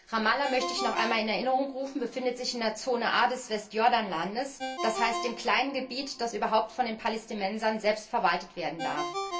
Ramallah, möchte ich noch einmal in Erinnerung rufen, befindet sich in der Zone A des Westjordanlandes, das heißt in dem kleinen Gebiet, das überhaupt von den Palästinensern selbst verwaltet werden darf.